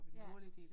Ja